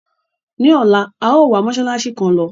Ní ọ̀la, a yòó wa mósálásí kan lọ.